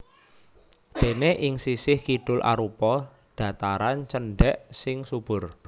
Déné ing sisih kidul arupa dhataran cendhèk sing subur